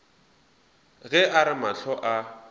ge a re mahlo a